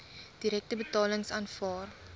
direkte betalings aanvaar